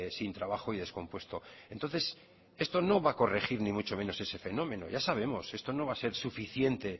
sin trabajo y descompuesto entonces esto no va a corregir ni mucho menos este fenómeno ya sabemos esto no va a ser suficiente